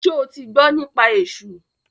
Ṣo ti gbọ́ nípa esú?